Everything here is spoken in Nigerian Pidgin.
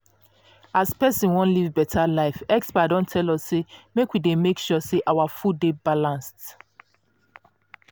if persin wan live beta life experts don tell us say make we dey make sure say our food dey balanced.